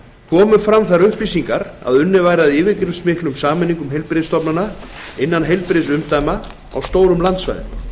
komu fram þær upplýsingar að unnið væri að yfirgripsmiklum sameiningum heilbrigðisstofnana innan heilbrigðisumdæma á stórum landsvæðum